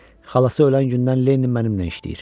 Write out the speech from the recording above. Xalası ölən gündən Lenin mənimlə işləyir.